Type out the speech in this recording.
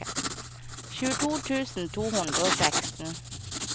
tjueto tusen to hundre og seksten